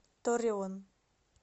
торреон